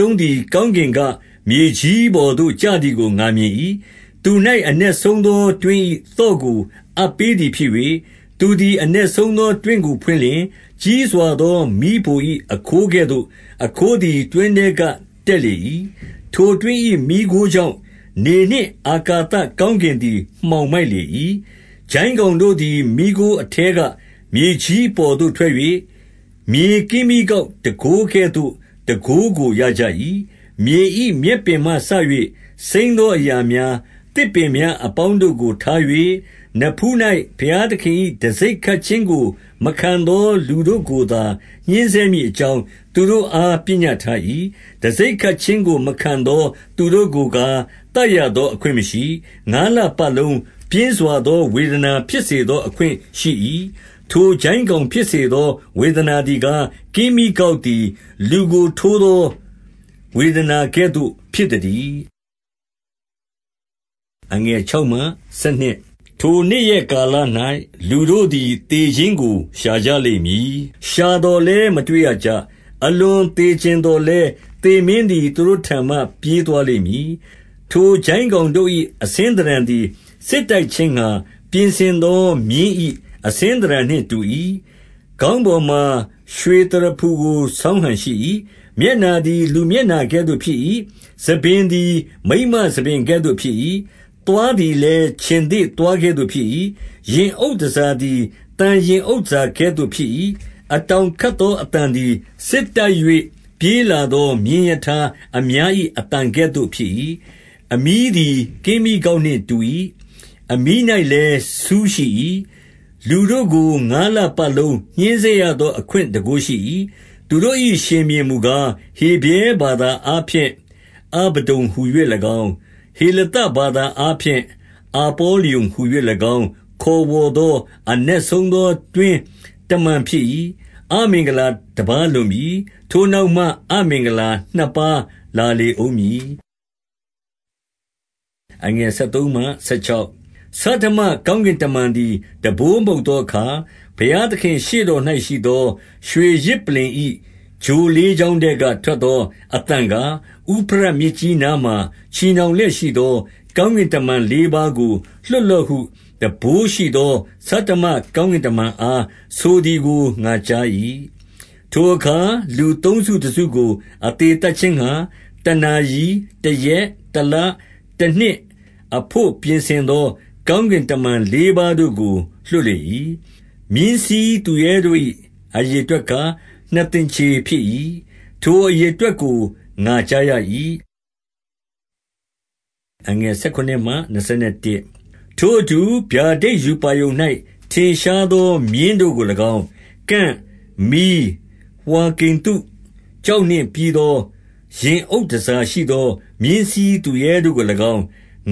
လုံးသည် ကောင်းကင်က မြေကြီးပေါ်သို့ ကျသည်ကို ငါမြင်၏။ သူ၌အနက်ဆုံးသော တွင်း၏ သော့ကို အပ်ပေးသည်ဖြစ်၍၊ 2 သူသည်အနက်ဆုံးသော တွင်းကိုဖွင့်လျှင်၊ ကြီးစွာသော မီးဖို၏ အခိုးကဲ့သို့သော အခိုးသည် တွင်း ထဲက တက်လေ၏။ ထိုတွင်း၏ မီးခိုးကြောင့်၊ နေနှင့် အာကာသ ကောင်းကင်သည် မှောင်မိုက်လေ၏။ 3 ကျိုင်းကောင်တို့သည် မီးခိုးအထဲက မြေကြီးအပေါ်သို့ထွက်၍ မြေကင်းမြီးကောက်တန်ခိုးကဲ့သို့သော တန်ခိုးကိုရကြ၏။ 4 မြေ၏မြက်ပင်မှစ၍ စိမ်းသောအရာများ၊ သစ်ပင်များအပေါင်းတို့ကို ထား၍၊ နဖူး၌ဘုရားသခင် ၏ တံဆိပ်ခတ်ခြင်းကို မခံသော လူတို့ကိုညှဉ်းဆဲမည် အကြောင်းသူတို့အား ပညတ်ထား၏။ 5 တံဆိပ်ခတ်ခြင်းကို မခံသောသူတို့ကိုကား သတ်ရသောအခွင့်မရှိ။ ငါးလပတ်လုံး ပြင်းစွာသော ဝေဒနာ ဖြစ်စေသော အခွင့်ရှိ၏။ ထိုကျိုင်းကောင် ဖြစ်စေသော ဝေဒနာသည်ကား၊ ကင်းမြီးကောက်သည် လူကိုထိုးသော ဝေဒနာကဲ့သို့ဖြစ်သတည်း။ 6 ထိုနေ့ရက်ကာလ၌ လူတို့သည် သေခြင်းကို ရှာကြလိမ့်မည်။ ရှာသော်လည်း မတွေ့ရကြ။ အလွန် သေချင်သော်လည်း သေမင်းသည် သူတို့ထံမှ ပြေးသွားလိမ့်မည်။ 7 ထိုကျိုင်းကောင်တို့၏ အဆင်းသဏ္ဍန်သည် စစ်တိုက်ခြင်းငှါ ပြင်ဆင်သောမြင်း၏ အဆင်းသဏ္ဍာန် နှင့်တူ၏။ ခေါင်းပေါ်မှ ရွှေသရဖူကို ဆောင်းဟန်ရှိ၏။ မျက်နှာသည်လူမျက်နှာကဲ့သို့ဖြစ်၏။ 8 ဆံပင်သည်မိန်းမဆံပင်ကဲ့သို့ဖြစ်၏။ သွားသည်လည်း ခြင်္သေ့သွားကဲ့သို့ ဖြစ်၏။ 9 ရင်အုပ်တန်ဆာသည် သံရင်အုပ်တန်ဆာကဲ့သို့ဖြစ်၏။ အတောင်ခတ်သော အသံသည် စစ်တိုက်၍ ပြေးလာသော မြင်းရထားအများ၏ အသံကဲ့သို့ဖြစ်၏။ 10 အမြီးသည် ကင်းမြီးကောက်နှင့်တူ၏။ အမြီး၌လည်း ဆူးရှိ၏။ လူတို့ကို ငါးလပတ်လုံး ညှဉ်းဆဲရသော အခွင့်တန်ခိုးရှိ၏။ 11 သူတို့၏ ရှင်ဘုရင်မူကား၊ ဟေဗြဲဘာသာအားဖြင့် အဗဒ္ဒုန်ဟူ၍၎င်း၊ ဟေလသဘာသာအားဖြင့် အပေါ လျုန်ဟူ၍၎င်း ခေါ်ဝေါ်သော အနက်ဆုံးသောတွင်း တမန်ဖြစ်၏။ 12 အမင်္ဂလာတပါးလွန်ပြီ။ ထိုနောက်မှ အမင်္ဂလာ နှစ်ပါးလာလေဦးမည်။ 13 ဆဋ္ဌမကောင်းကင်တမန်သည် တံပိုးမှုတ်သောအခါ၊ ဘုရားသခင်ရှေ့တော်၌ရှိသော ရွှေယဇ်ပလ္လင်၏ ချိုလေးချောင်းထဲက ထွက်သော အသံကား၊ 14 ဥဖရတ်မြစ်ကြီးနားမှာ ချည်နှောင်လျက်ရှိသော ကောင်းကင်တမန်လေးပါးကို လွှတ်လော့ဟု တံပိုးရှိသော ဆဌမကောင်းကင်တမန်အားဆိုသည်ကို ငါကြား၏။ 15 ထိုအခါ လူသုံးစုတစုကို အသေသတ်ခြင်းငှါ။ တနာရီ၊ တရက်၊ တလ၊ တနှစ် အဘို့ပြင်ဆင်သော ကောင်းကင်တမန်လေးပါးတို့ကို လွှတ်လေ၏။ 16 မြင်းစီးသူရဲတို့၏ အရေအတွက်ကား ၊ နှစ်သင်္ချေ ဖြစ်၏။ ထိုအရေအတွက်ကို ငါကြားရ၏။ 17 ထိုအတူဗျာဒိတ်ရူပါရုံ၌ ထင်ရှားသော မြင်းတို့ကို၎င်း၊ ကန့်၊ မီး၊ ဝှါကိန္တုကျောက်နှင့်ပြီးသော ရင်အုတ် တန်ဆာရှိသော မြင်းစီးသူရဲတို့ကို၎င်း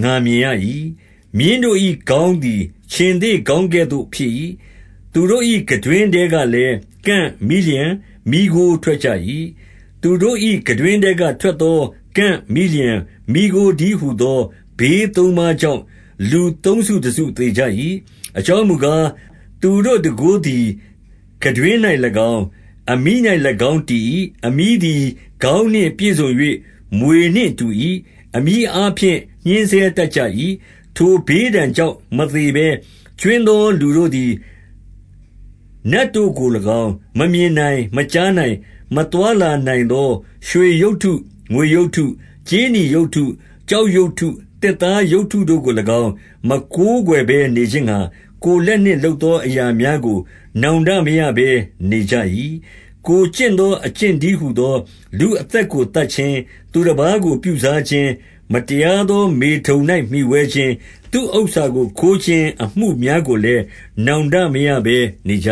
ငါမြင်ရ၏။ မြင်းတို့၏ ခေါင်းသည်ခြင်္သေ့ခေါင်းကဲ့သို့ ဖြစ်၏။ သူတို့၏ ခံတွင်း ထဲကလည်း ကန့်၊ မီးလျှံ၊ မီးခိုးထွက်ကြ၏။ 18 သူတို့၏ခံတွင်းထဲက ထွက်သော ကန့်၊ မီးလျှံ၊ မီးခိုးတည်းဟူသော ဘေးသုံးပါးကြောင့်၊ လူသုံးစုတစု သေကြ၏။ 19 အကြောင်းမူကား၊ သူတို့တန်ခိုးသည် ခံတွင်း၌၎င်း၊ အမြီး၌၎င်းတည်၏။ အမြီးသည် ခေါင်းနှင့် ပြည့်စုံ၍ မြွေနှင့်တူ၏ ။အမြီးအားဖြင့်ညှင်းဆဲတတ်ကြ၏။ 20 ထိုဘေးဒဏ်ကြောင့် မသေဘဲကြွင်းသော လူတို့သည် နတ်တို့ကို၎င်း၊ မမြင်နိုင်၊ မကြားနိုင်၊ မသွားလာနိုင်သောရွှေရုပ်တု၊ ငွေရုပ်တု၊ ကြေးနီရုပ်တု၊ ကျောက်ရုပ်တု၊ သစ်သားရုပ်တုတို့ကို၎င်း မကိုးကွယ်ဘဲ နေခြင်းငှါ၊ ကိုယ်လက်နှင့် လုပ်သော အရာများကို နောင်တမရဘဲနေကြ၏။ 21 ကိုယ်ကျင့်သော အကျင့်တည်းဟူသော လူအသက်ကို သတ်ခြင်း၊ သူတပါးကိုပြုစားခြင်း ၊ မတရား သောမေထုန်၌မှီဝဲခြင်း ၊ သူ့ဥစ္စာကိုခိုးခြင်း ၊ အမှုများကို လည်း နောင်တမရဘဲနေကြ